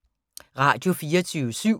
Radio24syv